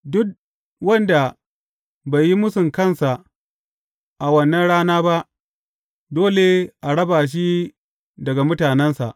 Duk wanda bai yi mūsun kansa a wannan rana ba, dole a raba shi daga mutanensa.